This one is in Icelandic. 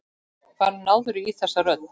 Hvar náðirðu í þessa rödd?